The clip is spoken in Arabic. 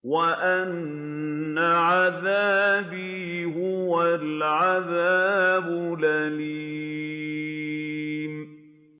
وَأَنَّ عَذَابِي هُوَ الْعَذَابُ الْأَلِيمُ